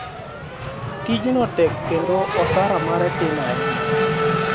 tij no tek kendo osara mare tin ahinya